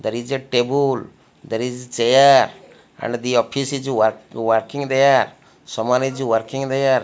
there is a table there is chair and the office is work working there someone is working there.